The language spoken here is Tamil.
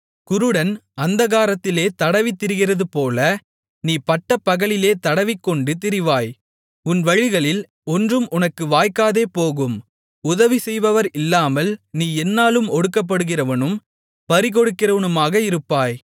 குருடன் அந்தகாரத்திலே தடவித்திரிகிறதுபோல நீ பட்டப்பகலிலே தடவிக்கொண்டு திரிவாய் உன் வழிகளில் ஒன்றும் உனக்கு வாய்க்காதேபோகும் உதவி செய்பவர் இல்லாமல் நீ எந்நாளும் ஒடுக்கப்படுகிறவனும் பறிகொடுக்கிறவனுமாக இருப்பாய்